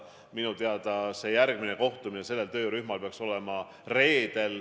Minu teada on järgmine töörühma kohtumine reedel.